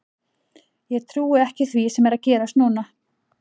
Ég trúi ekki því sem er að gerast núna.